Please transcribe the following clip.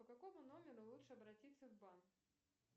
по какому номеру лучше обратиться в банк